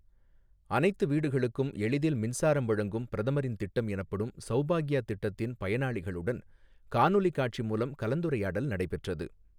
அனைத்து வீடுகளுக்கும் எளிதில் மின்சாரம் வழங்கும் பிரதமரின் திட்டம் எனப்படும் சௌபாக்யா திட்டத்தின் பயனாளிகளுடன் காணொலி காட்சி மூலம் கலந்துரையாடல் நடைபெற்றது.